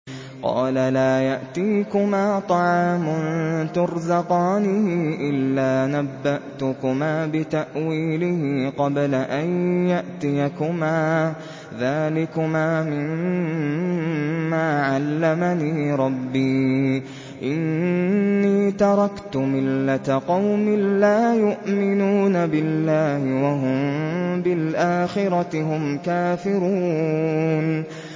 قَالَ لَا يَأْتِيكُمَا طَعَامٌ تُرْزَقَانِهِ إِلَّا نَبَّأْتُكُمَا بِتَأْوِيلِهِ قَبْلَ أَن يَأْتِيَكُمَا ۚ ذَٰلِكُمَا مِمَّا عَلَّمَنِي رَبِّي ۚ إِنِّي تَرَكْتُ مِلَّةَ قَوْمٍ لَّا يُؤْمِنُونَ بِاللَّهِ وَهُم بِالْآخِرَةِ هُمْ كَافِرُونَ